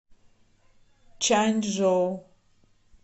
чанчжоу